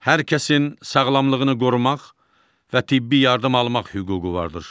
Hər kəsin sağlamlığını qorumaq və tibbi yardım almaq hüququ vardır.